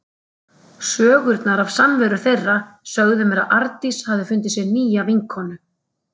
Sögurnar af samveru þeirra sögðu mér að Arndís hafði fundið sér nýja vinkonu.